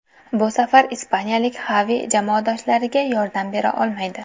Bu safar ispaniyalik Xavi jamoadoshlariga yordam bera olmaydi.